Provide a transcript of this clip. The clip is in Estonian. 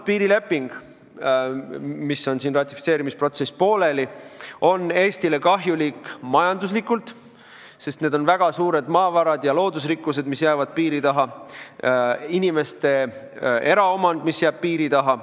Piirileping, mille ratifitseerimise protsess on siin pooleli, on Eestile kahjulik majanduslikult, sest väga palju maavarasid ja loodusrikkusi jääb piiri taha, ka inimeste eraomand jääb piiri taha.